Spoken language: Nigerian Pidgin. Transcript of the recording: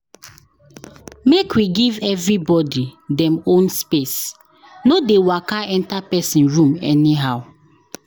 Make we give everybody dem own space, no dey waka enter person room anyhow.